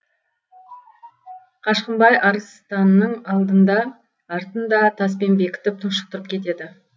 қашқынбай арыстанның алдын да артын да таспен бекітіп тұншықтырып кетеді